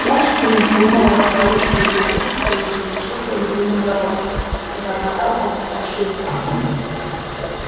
жаль что ты не додумала о здоровье своей девочки прежде чем лишить её любимого робота пробормотал он про себя